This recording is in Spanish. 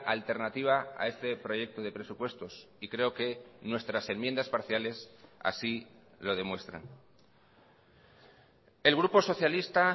alternativa a este proyecto de presupuestos y creo que nuestras enmiendas parciales así lo demuestran el grupo socialista